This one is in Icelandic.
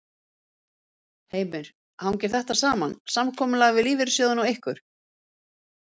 Heimir: Hangir þetta saman, samkomulag við lífeyrissjóðina og ykkur?